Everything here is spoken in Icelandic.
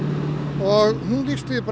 og hún lýsti því